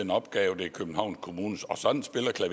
her opgave an sådan